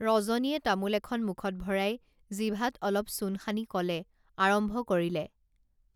ৰজনীয়ে তামোল এখন মুখত ভৰাই জিভাত অলপ চূণ সানি কলে আৰম্ভ কৰিলে